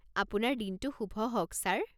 আপোনাৰ দিনটো শুভ হওক ছাৰ!